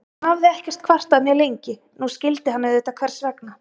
Hún hafði ekkert kvartað mjög lengi, nú skildi hann auðvitað hvers vegna.